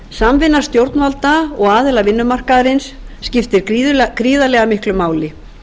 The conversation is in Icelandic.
samvinna stjórnvalda og aðila vinnumarkaðarins skiptir gríðarlega miklu máli